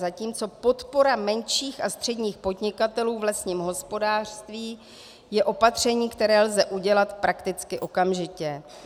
Zatímco podpora menších a středních podnikatelů v lesním hospodářství je opatření, které lze udělat prakticky okamžitě.